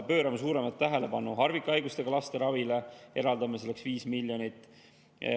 Pöörame suuremat tähelepanu harvikhaigustega laste ravile, eraldame selleks 5 miljonit.